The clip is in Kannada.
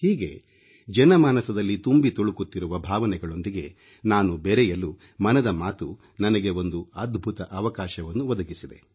ಹೀಗೆ ಜನಮಾನಸದಲ್ಲಿ ತುಂಬಿ ತುಳುಕುತ್ತಿರುವ ಭಾವನೆಗಳೊಂದಿಗೆ ನಾನು ಬೆರೆಯಲು ಮನದ ಮಾತು ನನಗೆ ಒಂದು ಅದ್ಭುತ ಅವಕಾಶವನ್ನು ಒದಗಿಸಿದೆ